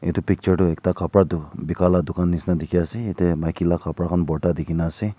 etu picture tu ekta kapara dukan Bika laga dukan nisna dekhi ase jatte maiki laga kapara khan borta dekhi kina ase.